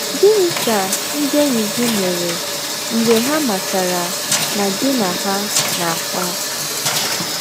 Gịnị ka ndị enyi gị mere mgbe ha matara na gị na Ha na - akpa?